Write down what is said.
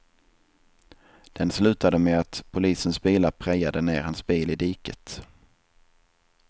Den slutade med att polisens bilar prejade ner hans bil i diket.